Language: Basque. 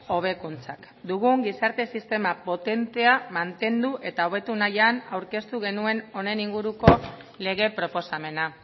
hobekuntzak dugun gizarte sistema potentea mantendu eta hobetu nahian aurkeztu genuen honen inguruko lege proposamena